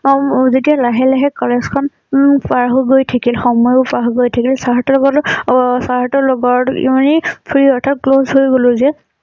উম যেতিয়া লাহে লাহে কলেজখন উম পাৰ হৈ গৈ থাকিল সময়ো পাৰ হৈ গৈ থাকিল চাৰ সতৰ লগতো অ চাৰ সতৰ লগত free অৰ্থাৎ close হৈ গলোঁ যে